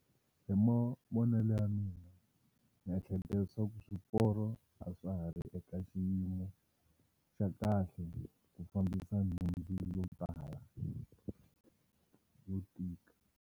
Hi mavonelo ya mina ni ehleketa leswaku swiporo a swa ha ri eka xiyimo xa kahle ku fambisa nhundzu yo tala yo tika.